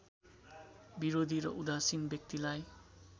विरोधी र उदासीन व्यक्तिलाई